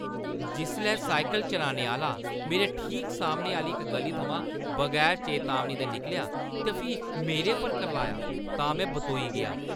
जिसलै साइकल चलाने आह्‌ला मेरे ठीक सामने आह्‌ली इक ग'ली थमां बगैर चेतावनी दे निकलेआ ते फ्ही मेरे पर करलाया तां में बतोई गेआ।